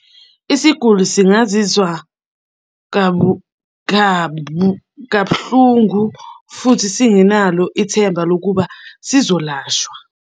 Isiguli singazizwa kabuhlungu, futhi senginalo ithemba lokuba sizolashwa.